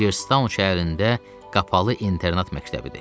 Igertown şəhərində qapalı internat məktəbidir.